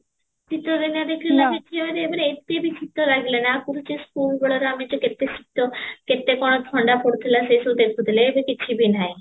ଶିତ ଦିନେ ଦେଖିଲେ ମାନେ ଏତେ ବି ଶିତ ଲାଗିଲାନି ଆ ପୂର୍ବରୁ ଯେ school ବେଳରେ ଆମେ କେତେ ଶିତ କେତେକଣ ଥଣ୍ଡା ପଡୁଥିଲା ସେ ସବୁ ଦେଖୁଥିଲେ ଏବେ କିଛି ବି ନାହିଁ